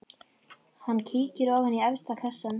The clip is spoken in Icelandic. Hann kíkir ofan í efsta kassann.